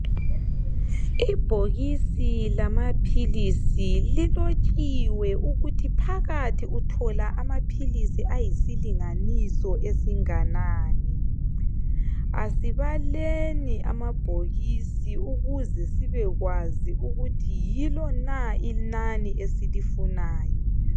Ibhokisi lamapills lilotshiwe ukuthi phakathi uthola amapills ayisilinganiso esinganani asibaleli amabhokisi ukuze sibekwazi yilona inani esifunayo